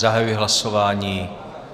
Zahajuji hlasování.